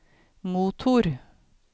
motor